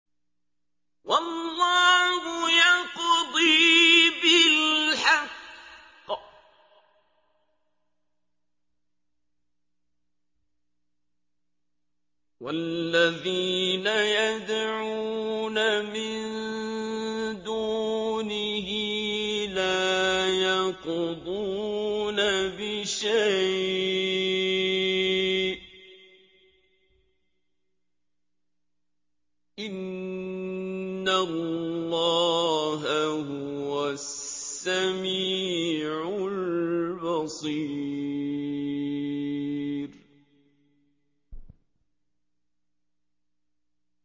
وَاللَّهُ يَقْضِي بِالْحَقِّ ۖ وَالَّذِينَ يَدْعُونَ مِن دُونِهِ لَا يَقْضُونَ بِشَيْءٍ ۗ إِنَّ اللَّهَ هُوَ السَّمِيعُ الْبَصِيرُ